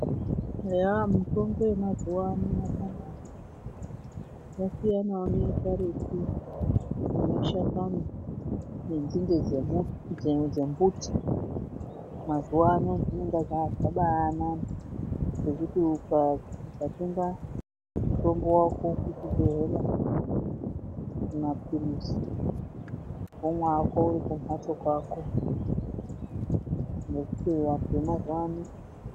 Eya mitombo yemazuwa ano yakanaka yasiyanawo neyekaretu dzemashakani nenzinde dzembuti. Mazuwa ano zvambaanaka ngekuti ukatenga mutombo wako kuchibhedhlera maphirizi womwa hako uri pamhatso pako